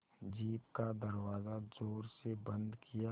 jeep का दरवाज़ा ज़ोर से बंद किया